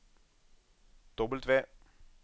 W